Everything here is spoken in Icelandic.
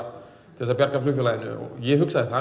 þess að bjarga flugfélaginu ég hugsaði að það